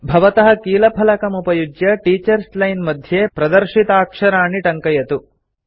भवतः कीलफलकमुपयुज्य teachers line मध्ये प्रदर्शिताक्षराणि टङ्कयतु